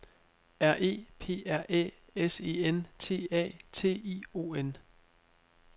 R E P R Æ S E N T A T I O N